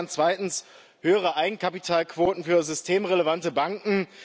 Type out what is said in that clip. Wir fordern zweitens höhere Eigenkapitalquoten für systemrelevante Banken.